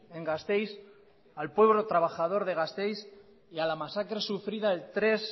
en gasteiz al pueblo trabajador de gasteiz y a la masacre sufrida el tres